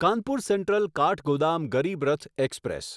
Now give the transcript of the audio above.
Kanpur Central Kathgodam Garib Rath express